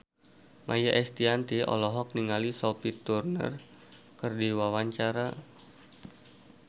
Maia Estianty olohok ningali Sophie Turner keur diwawancara